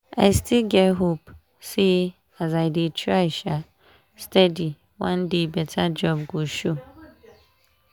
i still get hope say as i dey try um steady one day better job go show.